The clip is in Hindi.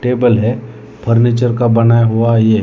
टेबल है फर्नीचर का बनाया हुआ ये है।